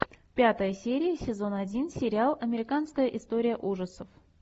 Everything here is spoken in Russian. пятая серия сезон один сериал американская история ужасов